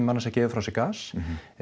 annars gefið frá sér gas